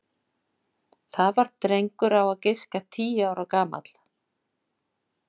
Það var drengur á að giska tíu ára gamall.